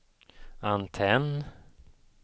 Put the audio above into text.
antenn